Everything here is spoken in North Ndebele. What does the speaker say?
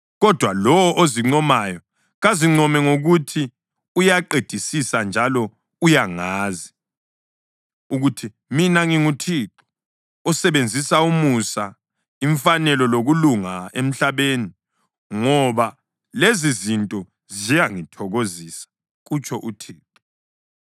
kodwa lowo ozincomayo, kazincome ngokuthi uyaqedisisa njalo uyangazi, ukuthi mina nginguThixo, osebenzisa umusa, imfanelo lokulunga emhlabeni, ngoba lezizinto ziyangithokozisa,” kutsho uThixo.